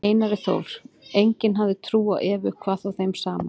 Einari Þór, enginn hafði trú á Evu, hvað þá þeim saman.